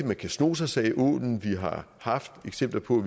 man kan sno sig sagde ålen vi har haft eksempler på